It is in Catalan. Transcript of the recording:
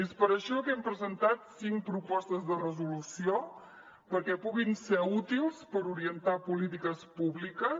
és per això que hem presentat cinc propostes de resolució perquè puguin ser útils per orientar polítiques públiques